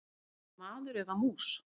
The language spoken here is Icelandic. Ertu maður eða mús?